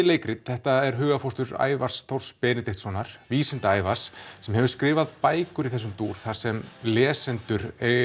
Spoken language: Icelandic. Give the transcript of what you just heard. leikrit þetta er hugarfóstur Ævars Þórs Benediktssonar Vísinda Ævars sem hefur skrifað bækur í þessum dúr þar sem lesendur